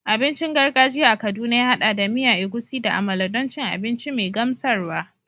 Abincin gargajiya a Kaduna ya haɗa da miya Egusi da amala don cin abinci mai gamsarwa.